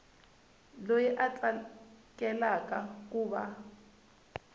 loyi a tsakelaka ku va